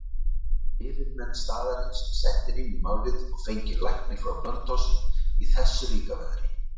Fyrirmenn staðarins settir inn í málið og fenginn læknir frá Blönduósi í þessu líka veðri.